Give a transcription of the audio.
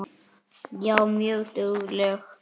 Já, mjög dugleg.